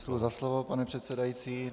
Děkuji za slovo, pane předsedající.